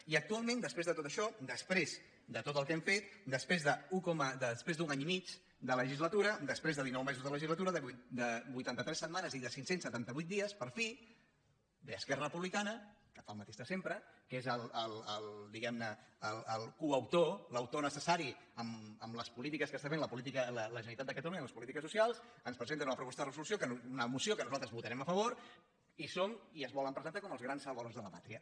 i actualment després de tot això després de tot el que hem fet després d’un any i mig de legislatura després de dinou mesos de legislatura de vuitanta tres setmanes i de cinc cents i setanta vuit dies per fi ve esquerra republicana que fa el mateix de sempre que és el diguem ne coautor l’autor necessari en les polítiques que està fent la generalitat de catalunya les polítiques socials ens presenta una moció que nosaltres votarem a favor i es volen presentar com els grans salvadors de la pàtria